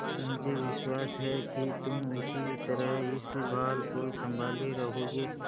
मुझे विश्वास है कि तुम उसी तरह इस भार को सँभाले रहोगे